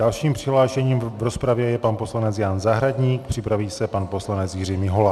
Dalším přihlášeným v rozpravě je pan poslanec Jan Zahradník, připraví se pan poslanec Jiří Mihola.